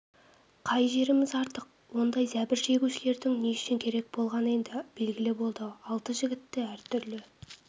қай жеріміз артық ондай зәбір шегушілердің не үшін керек болғаны енді белгілі болды алты жігітті әртүрлі